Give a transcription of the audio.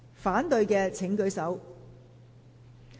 反對的請舉手。